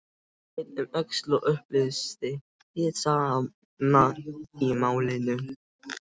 Leit um öxl og upplýsti hið sanna í málinu